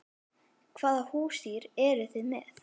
Hvaða húsdýr eru þið með?